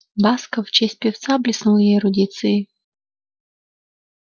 басков в честь певца блеснул я эрудицией